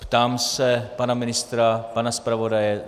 Ptám se pana ministra, pana zpravodaje.